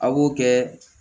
A b'o kɛ